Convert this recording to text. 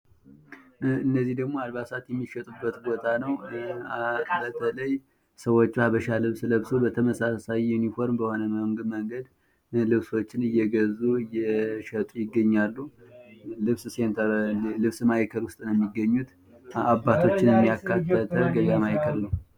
እነዚህ ደግሞ አልባሳት የሚሻጡበት ቦታ ነው። ሰዎቹ የሀበሻ ልብስ ለበስው በተመሳሳይ ዩኒፎርም በሆነ መንገድ ልብሶችን እየገዙ እየሸጡ ይገኛሉ። ልብስ ሴንተር ልብስ ማእከል ውስጥ ነው የሚገኙት። አባቶችንም ያካተተ ገቢያ ማእከል ነው።